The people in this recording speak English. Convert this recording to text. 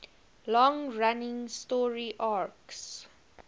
long running story arcs